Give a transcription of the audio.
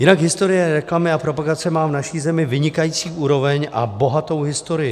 Jinak historie reklamy a propagace má v naší zemi vynikající úroveň a bohatou historii.